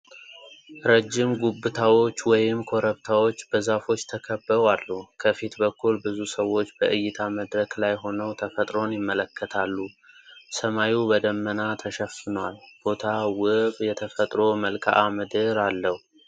ረጅም ጉብታዎች (ኮረብታዎች) በዛፎች ተከበው አሉ። ከፊት በኩል ብዙ ሰዎች በዕይታ መድረክ ላይ ሆነው ተፈጥሮን ይመለከታሉ። ሰማዩ በደመና ተሸፍኗል። ቦታው ውብ የተፈጥሮ መልክዓ ምድር አለው።